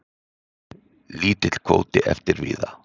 Lítill kvóti eftir víða.